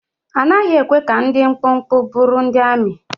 A naghị ekwe ka ndị dị mkpụmkpụ bụrụ ndị amị.